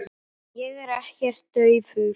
Ég er ekkert daufur.